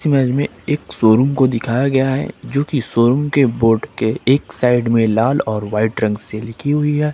एक शोरूम को दिखाया गया है जोकी शोरूम के बोर्ड के एक साइड में लाल और वाइट रंग से लिखी हुई है।